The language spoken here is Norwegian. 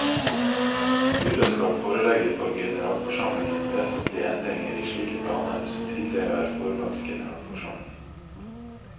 Styret skal forelegge for generalforsamlingen vesentlige endringer i slike planer som tidligere er forelagt generalforsamlingen.